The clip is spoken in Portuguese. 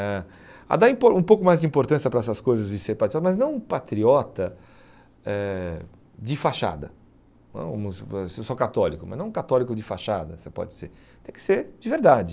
a a dar impor um pouco mais de importância para essas coisas de ser patriota, mas não um patriota eh de fachada, hum vamos supor, se eu sou católico, mas não um católico de fachada, você pode ser, tem que ser de verdade.